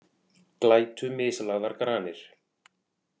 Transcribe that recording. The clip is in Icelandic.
Glætu mislagðar granir